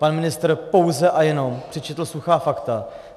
Pan ministr pouze a jenom přečetl suchá fakta.